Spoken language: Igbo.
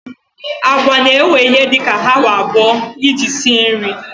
Agwa na-ewe ihe dị ka awa abụọ iji sie nri.